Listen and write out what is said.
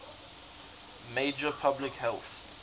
major public health